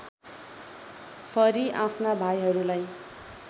फरि आफ्ना भाइहरूलाई